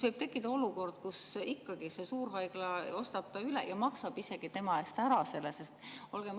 Võib tekkida olukord, kus ikkagi see suurhaigla ostab ta üles ja maksab isegi tema eest ära selle.